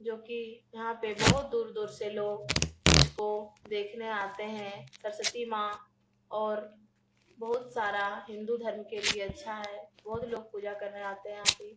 जोकि यहाँ बहुत दूर-दूर से लोग इसको देखने आते हैं सरस्वती माँ और बहुत सारा हिन्दू धर्म के लिये अच्छा है । बहुत लोग पूजा करने आते हैं यहाँ पे ।